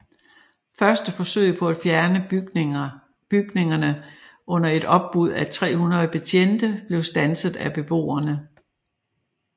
Første forsøg på at fjerne bygningerne under et opbud af 300 betjente blev standset af beboerne